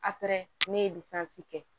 ne ye kɛ